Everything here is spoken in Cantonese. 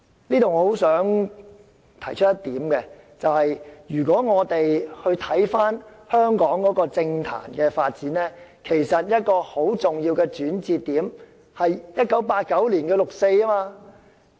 就此，我十分希望提出一點，便是如果我們回看香港政壇的發展，其實一個很重要的轉捩點，是1989年的六四事件。